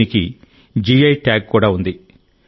దీనికి GI tag కూడా ఉంది